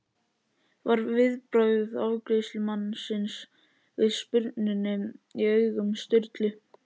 var viðbragð afgreiðslumannsins við spurninni í augum Sturlu.